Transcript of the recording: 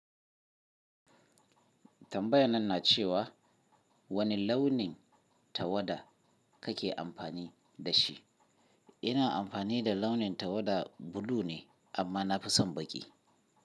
Tambayan na ce wa wani launin tawada kake amfani da shi? Ina amfani da launin tawada bulu ne amma na fi son baƙi.